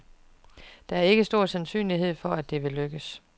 Der er ikke stor sandsynlighed for, at det vil lykkes.